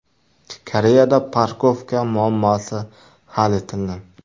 Koreyada parkovka muammosi hal etildi.